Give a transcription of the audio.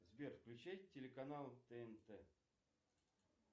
сбер включи телеканал тнт